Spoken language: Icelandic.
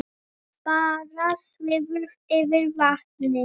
Bára svífur yfir vatnið.